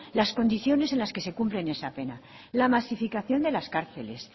las condiciones en las que se cumple esa pena la masificación de las cárceles